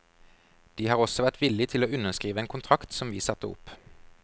De har også vært villig til å underskrive en kontrakt som vi satte opp.